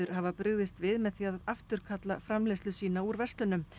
hafa brugðist við með því að afturkalla framleiðslu sína úr verslunum